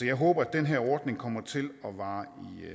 jeg håber at den her ordning kommer til at vare